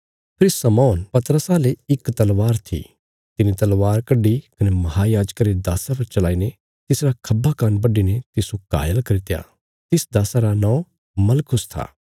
फेरी शमौन पतरसा ले इक तलवार थी तिने तलवार कड्डी कने महायाजका रे दास्सा पर चलाईने तिसरा खब्बा कान्न बडीने तिस्सो घायल करित्या तिस दास्सा रा नौं मलखुस था